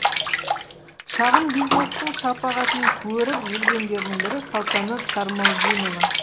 шағын бизнестің шапағытын көріп жүргендердің бірі салтанат сармолдинова